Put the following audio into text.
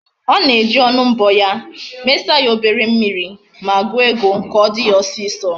Ona eji onu mbo ya, mesa ya obere mmiri, ma guo ego, ka odi ya osiso